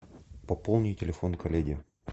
пополни телефон коллеги